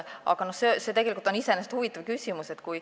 Aga see on iseenesest huvitav küsimus.